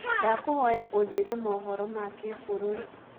ndakũhoya unjĩre mohoro ma kĩ bũrũrĩ